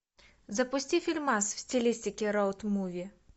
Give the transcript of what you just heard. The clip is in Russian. запусти фильмас в стилистике роуд муви